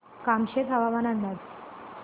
कामशेत हवामान अंदाज